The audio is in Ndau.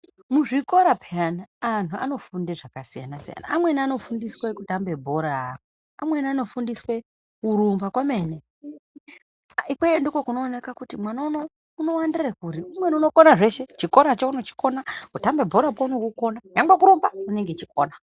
Muzvikora peyani antu anofunde zvakasiyana siyana. Amweni anofundiswe kutambe bhora. Amweni anofundiswe kurumba kwemene. Ikweyo ndokunoonekwa kuti mwana unou wakawandira kuri. Umweni unokona zveshe chikoracho unochikona, kutamba bhorakwo unokukona nyangwe kurumbakwo unenge achikukona.